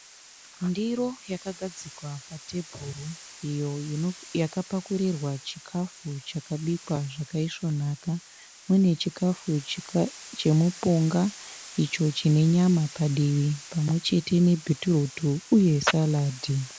Ndiro yakagadzikwa pa tebhuru iyo yakapakurirwa chikafu chakabikwa zvakaisvonaka. Mune chikafu chemupunga icho chine nyama padivi pamwechete nebhitirutu uye salad.